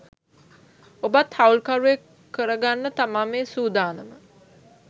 ඔබත් හවුල් කරුවෙක් කරගන්න තමා මේ සූදානම.